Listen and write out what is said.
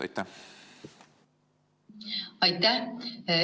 Aitäh!